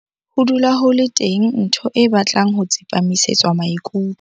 Ho dula ho le teng ntho e batlang ho tsepamisetswa maikutlo.